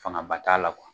Fanga ba t'a la kuwa